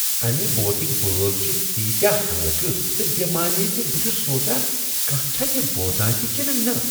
امہ بٲتٕکۍ بول چھ تیٖتیاہ ہلكہٕ تہٕ بےٚ معنے ز بہٕ چھس سونٛچان کانٛہہ چھا یہ بوزان تہ کنہٕ نہ۔